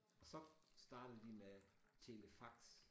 Og så startede de med telefax